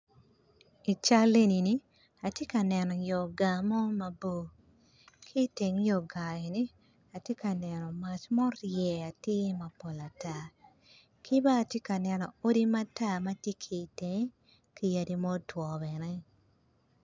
Ical eni atye ka neno to gar mo mabor ki teng yo garri ni atye ka neno mac ma orye atir mabor atar kibene atye ka neno odi matar matye ki itenge kiyadi ma otwo ieye.